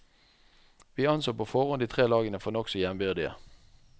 Vi anså på forhånd de tre lagene for nokså jevnbyrdige.